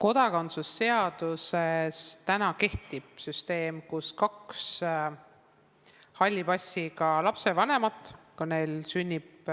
Kodakondsuse seaduses kehtib süsteem, et kui kahel halli passiga lapsevanemal sünnib